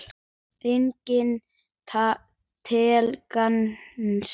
Engum til gagns.